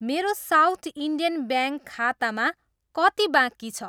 मेरो South Indian Bank खातामा कति बाँकी छ?